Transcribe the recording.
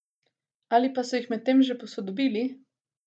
Ali pa so jih medtem že posodobili?